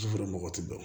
mɔgɔ tɛ dɔn